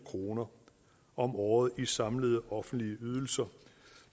kroner om året i samlede offentlige ydelser